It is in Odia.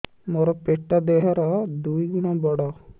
ମୋର ପେଟ ଦେହ ର ଦୁଇ ଗୁଣ ବଡ